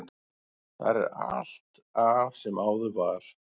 Þar er allt af sem áður var.